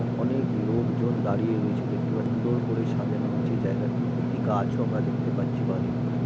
অনেক লোকজন দাঁড়িয়ে রয়েছে দেখতে পা। উন্দর করে সাজানো হয়েছে জায়গাটি। একটি গাছও আমরা দেখতে পাচ্ছি বাঁ দিক করে।